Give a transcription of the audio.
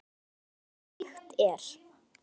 Dæmi um slíkt er